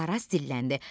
Araz dilləndi.